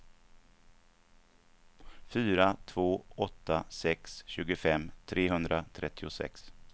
fyra två åtta sex tjugofem trehundratrettiosex